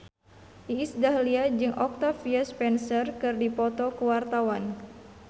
Iis Dahlia jeung Octavia Spencer keur dipoto ku wartawan